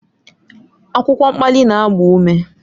Akwụkwọ mkpali na-agba ume.